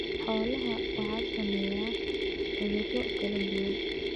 Xoolaha waxaa saameeya cudurro kala duwan.